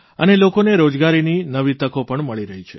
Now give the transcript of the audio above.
અને લોકોને રોજગારીની નવી તકો પણ મળી રહી છે